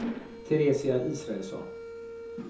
Teresia Israelsson